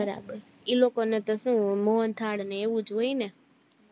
બરાબર ઈ લકો ને તો સુ મોહન થાળ ને એવુજ હોય ને